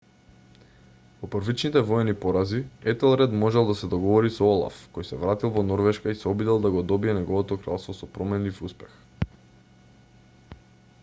по првичните воени порази етелред можел да се договори со олаф кој се вратил во норвешка и се обидел да го добие неговото кралство со променлив успех